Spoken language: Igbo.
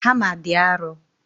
Hama dị arọ